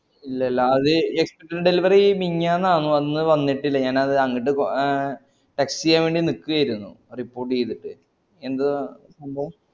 ഇല്ലല്ല അത് extent delivery മിഞ്ഞാന്നാന്നു അന്ന് വന്നിട്ടില്ല ഞാൻ അത് അങ്ങട്ട് ആഹ് text ചെയ്യവേണ്ടി നിക്കേര്ന്നു report ഈതിട്ട് എന്താ സംഭവം